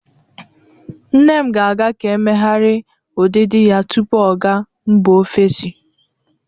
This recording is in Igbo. Nne m ga-aga ka emeghari udịdị ya tupu ọ ga mba ofesi.